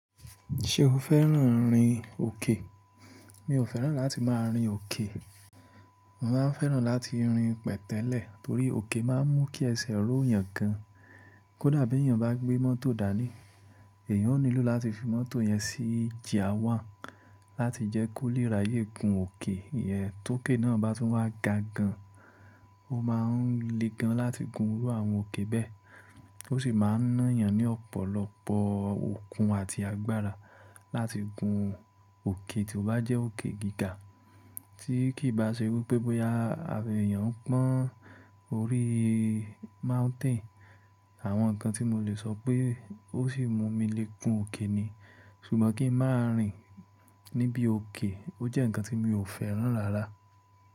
Ṣé o fẹ́ràn rìn òkè? Mi ò fẹ́ràn láti máa rìn òkè. Mo máa ń fẹ́ràn láti rìn pẹ̀tẹ́lẹ̀ torí òkè máa ń mú kí ẹsẹ̀ ró yàn gan. Kódà bí èèyàn bá gbé mọ́tò dání, èèyàn ó nílò láti fi mọ́tò yẹn sí gear one láti jẹ́ kó lè ráyè gun òkè. Tí òkè náà bá tún wá ga gan, ó máa ń le gan láti gun irú àwọn òkè bẹ́ẹ̀. Ó sì máa ń ná yàn ní ọ̀pọ̀lọpọ̀ okun àti agbára láti gun òkè tí ó bá jẹ́ òkè gíga, tí kì í bá ṣe wípé bóyá abẹ̀ yàn ń pọ́n orí mountain. Àwọn nǹkan tí mo lè sọ pé ó sì mú mi le gun òkè ni. Ṣùgbọ́n kí n máa rìn níbi òkè ó jẹ́ nǹkan tí mi ò fẹ́ràn rárá.